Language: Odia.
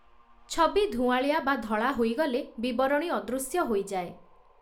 ଛବି ଧୂଆଁଳିଆ ବା ଧଳା ହୋଇଗଲେ, ବିବରଣୀ ଅଦୃଶ୍ୟ ହୋଇଯାଏ ।